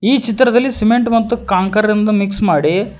ಈ ಚಿತ್ರದಲ್ಲಿ ಸಿಮೆಂಟ್ ಮತ್ತು ಕಂಕರ್ ನಿಂದ ಮಿಕ್ಸ್ ಮಾಡಿ--